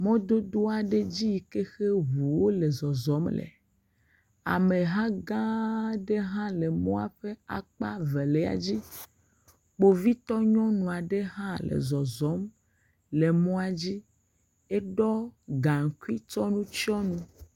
Mɔdodo aɖe dzi yi ke he ŋuwo le zɔzɔm le. Ameha gãaaã ɖe hã le mɔa ƒe akpa velia dzi. Kpovitɔ nyɔnu aɖe hã le zɔzɔm le mɔa dzi. Eɖɔ gaŋkui kɔ nu tsyɔ nu.